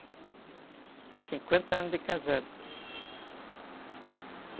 cinquenta anos de casado.